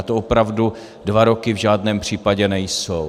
A to opravdu dva roky v žádném případě nejsou.